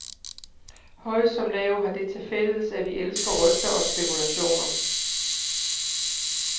Høj som lav, har det til fælles, at vi elsker rygter og spekulationer.